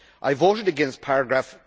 I voted against paragraph